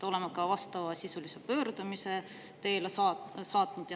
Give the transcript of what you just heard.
Oleme ka vastavasisulise pöördumise teele saatnud.